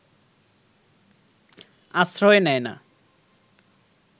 আশ্রয় নেয় না